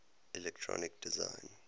electronic design